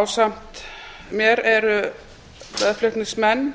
ásamt mér eru meðflutningsmenn